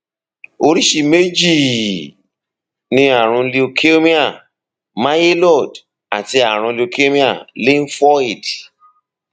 oríṣi méjì ni ààrùn leukemia myeloid àti ààrùn leukemia lymphoid